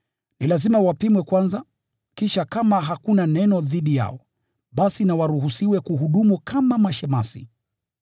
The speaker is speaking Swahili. Ni lazima wapimwe kwanza; kisha kama hakuna neno dhidi yao, basi na waruhusiwe kuhudumu kama mashemasi.